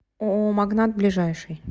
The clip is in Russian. ооо магнат ближайший